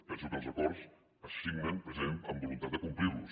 penso que els acords se signen precisament amb voluntat de complir los